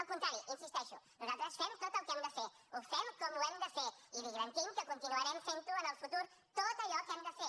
al contrari hi insisteixo nosaltres fem tot el que hem de fer ho fem com ho hem de fer i li garantim que continuarem fent ho en el futur tot allò que hem de fer